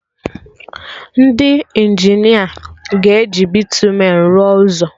Ndị Injinia ga-eji bịtumen rụọ ụzọ